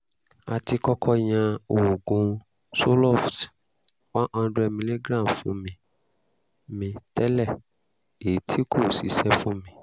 a ti kọ́kọ́ yan oògùn zoloft one hundred milligram fún mi mi tẹ́lẹ̀ èyí tí kò ṣiṣẹ́ fún mi